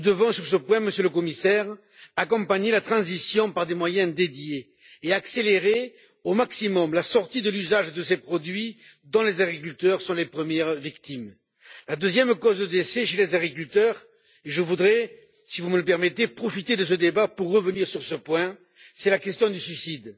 Sur ce point, Monsieur le Commissaire, nous devons accompagner la transition par des moyens dédiés et abandonner au plus vite l'usage de ces produits dont les agriculteurs sont les premières victimes. La deuxième cause de décès chez les agriculteurs et je voudrais, si vous me le permettez, profiter de ce débat pour revenir sur ce point c'est le suicide.